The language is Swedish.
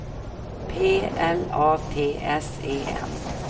P L A T S E N